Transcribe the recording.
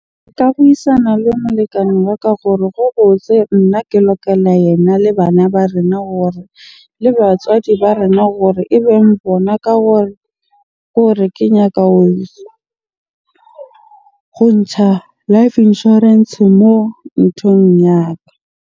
Nka buisana le molekane wa ka gore ho botse nna ke yena le bana ba rena hore le batswadi ba rena hore ebeng bona ka hore, ke hore kenya ho ntsha life Insurance moo nthong ya ka.